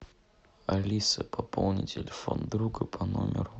алиса пополни телефон друга по номеру